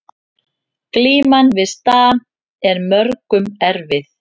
Glíman við stam er mörgum erfið